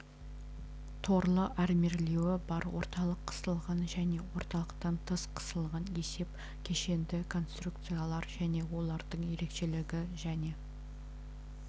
торлы армирлеуі бар орталық қысылған және орталықтан тыс қысылған есеп кешенді конструкциялар және олардың ерекшелігі және